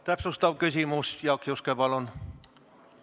Täpsustav küsimus, Jaak Juske, palun!